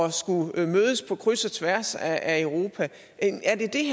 at skulle mødes på kryds og tværs af europa er det det